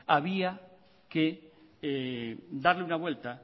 había quedarle una vuelta